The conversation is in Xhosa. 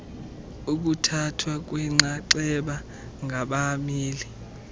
ukuthathwa kwenxaxheba ngabameli